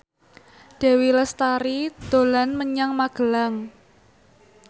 Dewi Lestari dolan menyang Magelang